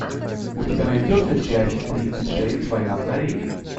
у тебя найдется часть тридцать шесть война в корее